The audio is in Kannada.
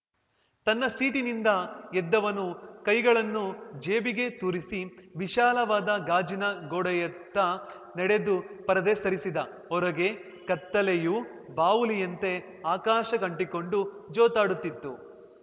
ತನ್ನ ಸೀಟಿನಿಂದ ಎದ್ದವನು ಕೈಗಳನ್ನು ಜೇಬಿಗೆ ತೂರಿಸಿ ವಿಶಾಲವಾದ ಗಾಜಿನ ಗೋಡೆಯತ್ತ ನಡೆದು ಪರದೆ ಸರಿಸಿದ ಹೊರಗೆ ಕತ್ತಲೆಯು ಬಾವುಲಿಯಂತೆ ಆಕಾಶಕ್ಕಂಟಿಕೊಂಡು ಜೋತಾಡುತ್ತಿತ್ತು